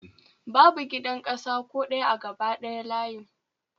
Babu gidan ƙasa ko ɗaya a gaba ɗaya layin